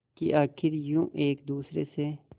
कि आखिर यूं एक दूसरे से